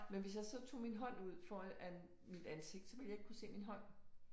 Men hvis jeg så tog min hånd ud foran mit ansigt så ville jeg ikke kunne se min hånd